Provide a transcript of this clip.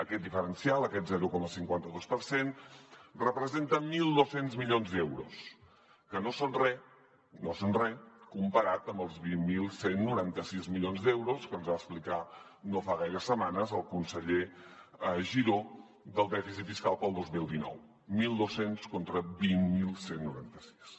aquest diferencial aquest zero coma cinquanta dos per cent representen mil dos cents milions d’euros que no són re no són re comparat amb els vint mil cent i noranta sis milions d’euros que ens va explicar no fa gaires setmanes el conseller giró del dèficit fiscal per al dos mil dinou mil dos cents contra vint mil cent i noranta sis